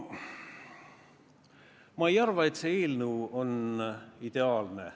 Ma ei arva, et see eelnõu on ideaalne.